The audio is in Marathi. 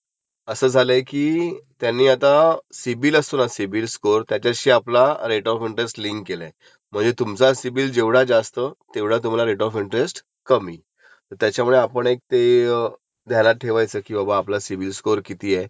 सिबिल स्कोअर किती आहे आणि समजा त्याच्यावरती जस्टीफिकेशन लागंत, की बाबा समजा आपलं एखादं क्रेडीट कार्ड बॅलन्स असेल काय असले ते दिसणार सिबिलला त्याच्यावरती जस्टीफिकेशन जसं माझं एका सिबिलचा चाललाय इश्यू, त्याच्यामध्ये असं आहे की..